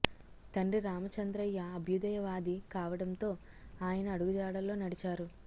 తండ్రి రామ చంద్రయ్య అభ్యుదయ వాది కావడంతో ఆయన అడుగు జాడల్లో నడిచారు